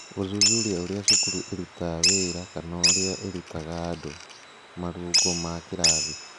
Gũthuthuria ũrĩa cukuru ĩrutaga wĩra kana ũrĩa ĩrutaga andũ (marũngo ma kĩrathi).